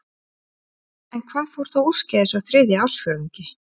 En hvað fór þá úrskeiðis á þriðja ársfjórðungi?